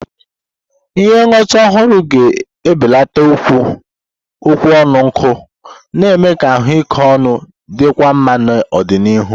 Ihe ngwọta ọhụrụ ga-ebelata okwu ọnụ nkụ, na-eme ka ahụike ọnụ dịkwuo mma n'ọdịnihu.